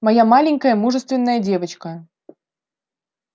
моя маленькая мужественная девочка